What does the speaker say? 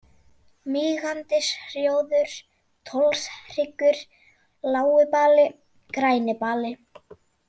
Mígandisrjóður, Tollshryggur, Lágibali, Grænibali